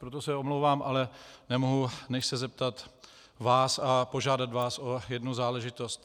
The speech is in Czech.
Proto se omlouvám, ale nemohu než se zeptat vás a požádat vás o jednu záležitost.